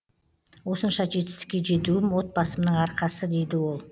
осынша жетістікке жетуім отбасымның арқасы дейді ол